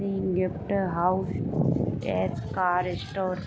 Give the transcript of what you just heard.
यह एक gift house and car store.